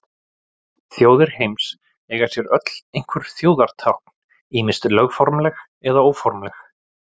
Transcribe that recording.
Þjóðir heims eiga sér öll einhver þjóðartákn, ýmist lögformleg eða óformleg.